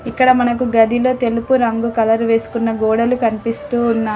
ఇక్కడ మనకు గదిలో తెలుపు రంగు కలర్ వేసుకున్న గోడలు కనిపిస్తూ ఉన్నాయి.